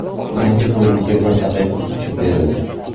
Birinchi bo‘limga bir daqiqa qo‘shib berildi.